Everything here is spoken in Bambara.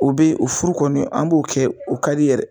O bɛ o furu kɔni an b'o kɛ o ka di yɛrɛ.